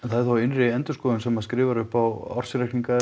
þá innri endurskoðun sem skrifar upp á ársreikninga er